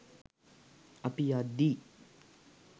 අපි යද්දි